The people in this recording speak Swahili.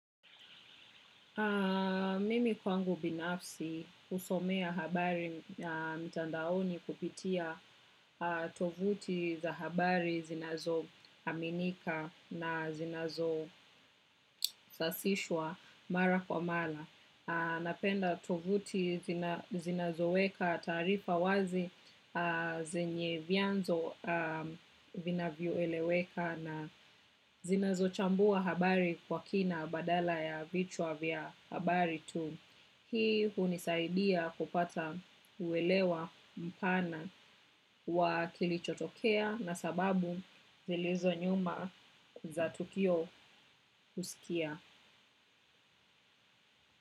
Mimi kwangu binafsi, husomea habari mtandaoni kupitia tovuti za habari zinazo aminika na zinazo sasishwa mara kwa mala. Napenda tovuti zinazo weka tarifa wazi, zenye vianzo vinavyo eleweka na zinazo chambua habari kwa kina badala ya vichwa vya habari tu. Hii hunisaidia kupata uwelewa mpana wa kilichotokea na sababu zilizo nyuma za tukio husikia.